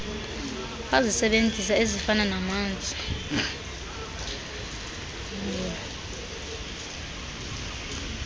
wazisebenzisa ezifana namanzi